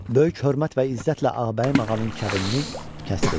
Böyük hörmət və izzətlə Ağabəyim ağanın kəbinini kəsdirdi.